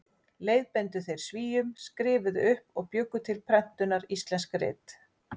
Leiðbeindu þeir Svíum, skrifuðu upp og bjuggu til prentunar íslensk rit.